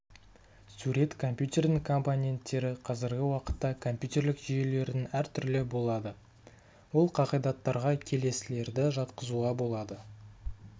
сурет компьютердің компоненттері қазіргі уақытта компьютерлік жүйелердің әр түрлі болады ол қағидаттарға келесілерді жатқызуға болады